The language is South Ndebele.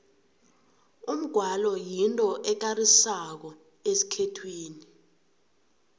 umgwalo yinto ekarisako esikhethwini